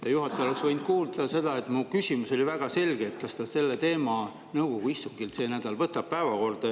Te, juhataja, oleks võinud kuulda seda, et mu küsimus oli väga selge: kas ta selle teema nõukogu istungil see nädal võtab päevakorda.